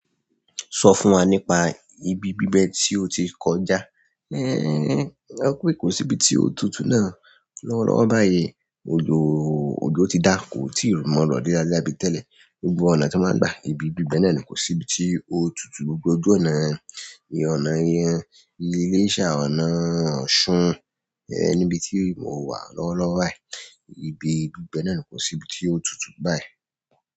So fún wa nípa ìbí bibẹ ti o ti kọjá ẹ kó pé kò sí ibi tí ó tutù náà. Lọ́wọ́lọ́wọ́ báyìí, òjò ti dá, kò tíì mọ́ rọ leralera bí tẹ́lẹ̀. Gbogbo ọ̀nà tó máa ń gba ibi bíbẹ náà ni kò sí ibi tí ó tutù. Gbogbo ọ̀nà, ìyẹn ọ̀nà yẹn, iléṣa, ọ̀nà Ọ̀ṣun, ẹ níbi tí mo wà lọ́wọ́lọ́wọ́ báyìí, ibi bíbẹ náà ni kò sí ibi tí ó tutù báyìí.